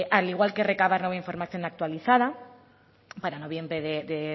al igual que recabar nueva información actualizada para noviembre de